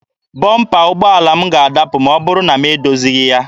Bọmpa ụgbọala m ga-adapụ ma ọ bụrụ na m edozighị ya.